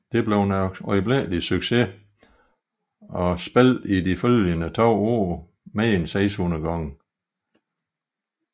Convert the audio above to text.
Det blev en øjeblikkelig succes og spillede i de følgende 2 år mere end 600 gange